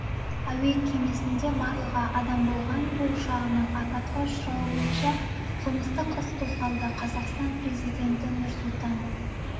әуе кемесінде барлығы адам болған ту ұшағының апатқа ұшырауы бойынша қылмыстық іс қозғалды қазақстан президенті нұрсұлтан